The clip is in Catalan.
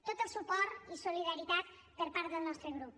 tot el suport i solidaritat per part del nostre grup